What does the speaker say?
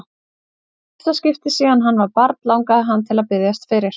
Í fyrsta skipti síðan hann var barn langaði hann til að biðjast fyrir.